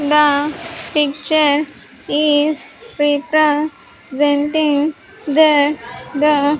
The picture is re-presenting that the --